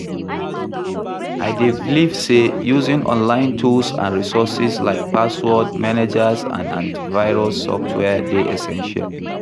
I dey believe say using online tools and resources like password managers and antivirus software dey essential.